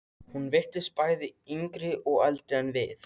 Hún virtist bæði yngri og eldri en við.